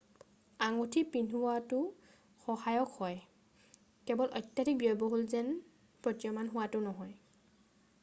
আঙুঠি পিন্ধাটোও সহায়ক হয় কেৱল অত্যাধিক ব্যয়বহুল যেন প্ৰতীয়মান হোৱাটো নহয়।